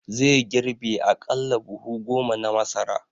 Zai girbe aƙalla buhu goma na masara